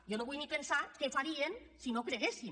jo no vull ni pensar què farien si no hi creguessin